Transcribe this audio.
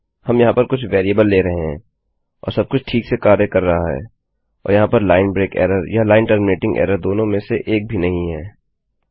हम यहाँ पर कुछ वेरिएबल ले रहे हैं और सबकुछ ठीक से कार्य कर रहा है और यहाँ पर लाइन ब्रेक एरर या लाइन टर्मिनेटिंग एरर दोनों में से एक भी नहीं है